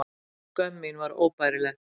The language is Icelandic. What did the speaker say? Skömm mín var óbærileg.